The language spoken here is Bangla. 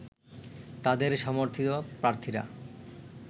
তাদের সমর্থিত প্রার্থীরা